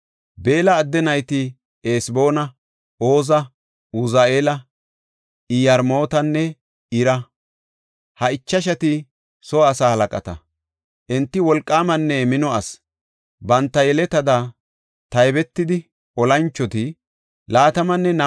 Beella adde nayti Eseboona, Oza, Uzi7eela, Iyarmootanne Ira; ha ichashati soo asaa halaqata. Enti wolqaamanne mino asi. Banta yeletada taybetida olanchoti 22,034 gididosona.